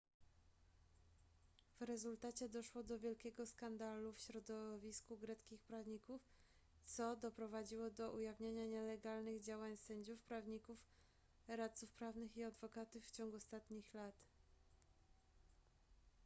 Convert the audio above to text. w rezultacie doszło do wielkiego skandalu w środowisku greckich prawników co doprowadziło do ujawnienia nielegalnych działań sędziów prawników radców prawnych i adwokatów w ciągu ostatnich lat